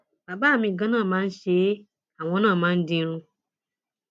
bàbá mi ganan máa ń ṣe é àwọn náà máa ń dirun